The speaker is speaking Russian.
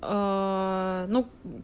эээ ну